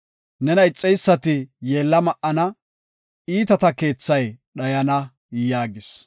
Nena ixeysati yeella ma7ana; iitata keethay dhayana” yaagis.